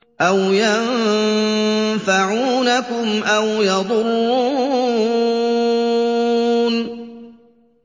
أَوْ يَنفَعُونَكُمْ أَوْ يَضُرُّونَ